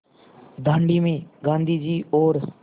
दाँडी में गाँधी जी और